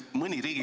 Muuseas ...